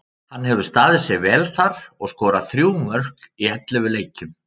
Hann hefur staðið sig vel þar og skorað þrjú mörk í ellefu leikjum.